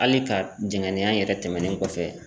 Ali ka zɛngɛnnenya yɛrɛ tɛmɛnen kɔfɛ